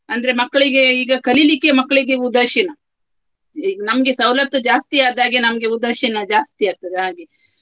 ಅಂದ್ರೆ ಮಕ್ಕಳಿಗೆ ಈಗ ಕಲಿಲಿಕ್ಕೆ ಮಕ್ಳಿಗೆ ಉದಾಶೀನ ಈಗ್ ನಮ್ಗೆ ಸವಲತ್ತು ಜಾಸ್ತಿಯಾದ ಹಾಗೆ ನಮ್ಗೆ ಉದಾಶೀನ ಜಾಸ್ತಿಯಾಗ್ತದೆ ಹಾಗೆ.